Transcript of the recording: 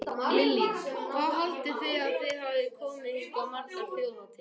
Lillý: Hvað haldið þið að þið hafið komið hingað margar þjóðhátíðar?